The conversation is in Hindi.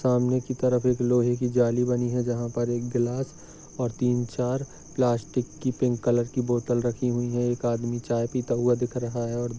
सामने की तरफ एक लोहे की जाली बनी है जहा पर एक ग्लास और तीन चार प्लास्टिक की पिंक कलर की बोतल रखी हुई है एक आदमी चाय पीता हुआ दिख रहा है और--